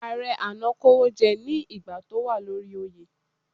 Ààrẹ àná kówójẹ́ ní ìgbà tó wà lórí oyè.